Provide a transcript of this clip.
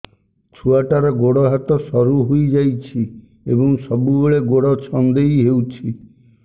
ଛୁଆଟାର ଗୋଡ଼ ହାତ ସରୁ ହୋଇଯାଇଛି ଏବଂ ସବୁବେଳେ ଗୋଡ଼ ଛଂଦେଇ ହେଉଛି